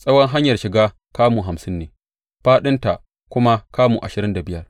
Tsawon hanyar shiga kamu hamsin ne, fāɗinta kuma kamu ashirin da biyar.